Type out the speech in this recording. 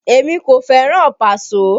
Èmi kò fẹ́ràn Paso